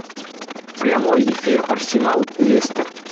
прямой эфир арсенал лестер